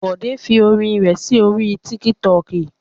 Bòdé fi orin rẹ̀ sí orí Tiktok.